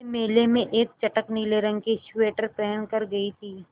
मैं मेले में एक चटख नीले रंग का स्वेटर पहन कर गयी थी